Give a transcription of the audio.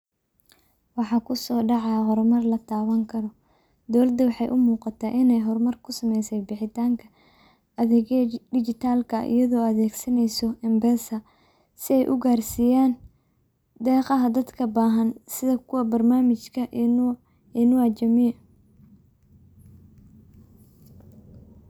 Waxa kusoo dhacaa hormaar laa tabaan kaaro. dowlaadu waxey uu muqaata iney hormaar kusaa meysee bixiitanka adegyadaa dijitaalka iyadoo adegsaneyso mpesa sii eey uu garsiyaan deqaaha dadkaa bahaan sidaa kuwaa barnamiijka inua jamii.